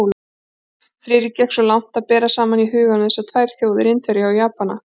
Friðrik gekk svo langt að bera saman í huganum þessar tvær þjóðir, Indverja og Japani.